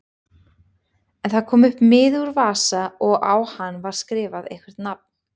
En það kom miði upp úr vasa og á hann var skrifað eitthvert nafn.